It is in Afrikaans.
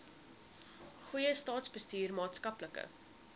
goeie staatsbestuur maatskaplike